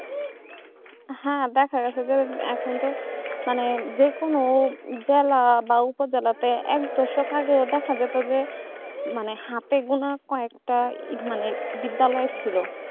হ্যাঁ দেখা যাচ্ছে যে এখনকার মানে যেকোনো জেলা বা উপজেলাতে এক দশক আগে দেখা যাচ্ছে যে মানে হাতে কোন কটা মানে বিদ্যালয় ছিল